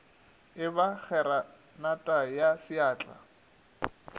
e ba kgeranata ya seatla